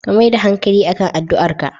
Ka mai da hanƙali akan addu'arka